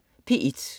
P1: